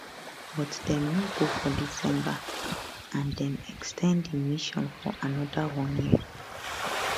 but dem no go for december and dem ex ten d di mission for anoda one year